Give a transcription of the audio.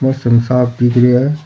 मौसम साफ दिख रेहा है।